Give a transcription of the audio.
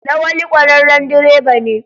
Lawali kwararren direba ne.